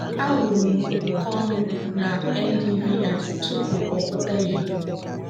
ahụrụ m ụkọ nri na ndvi tupu ọ pụta ìhè.